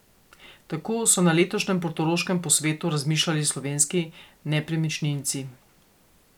Tako so na letošnjem portoroškem posvetu razmišljali slovenski nepremičninci.